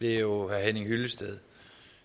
herre henning hyllested